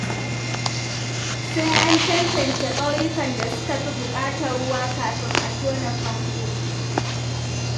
Sai an tantance ƙauyukan da suka fi buƙatar ruwa kafin a tona famfo.